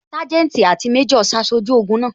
Sanjeti àti méjò ṣaṣojú ogun náà